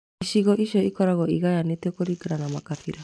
Icigo ici ikoragwo igayanĩtio kũringana na makabira